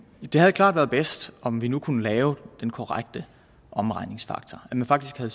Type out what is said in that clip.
det havde klart været bedst om vi nu kunne lave den korrekte omregningsfaktor at man faktisk havde